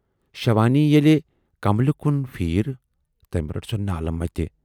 شوانی ییلہِ کملہِ کُن پھیٖر، تٔمۍ رٔٹ سۅ نالہٕ مَتہِ۔